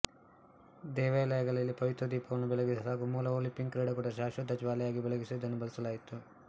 ದೇವಾಲಯಗಳಲ್ಲಿನ ಪವಿತ್ರ ದೀಪಗಳನ್ನು ಬೆಳಗಿಸಲು ಹಾಗೂ ಮೂಲ ಒಲಂಪಿಕ್ ಕ್ರೀಡಾಕೂಟಗಳಲ್ಲಿ ಶಾಶ್ವತ ಜ್ವಾಲೆಯಾಗಿ ಬೆಳಗಿಸಲು ಇದನ್ನು ಬಳಸಲಾಯಿತು